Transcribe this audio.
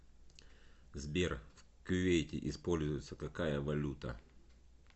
сбер в кувейте используется какая валюта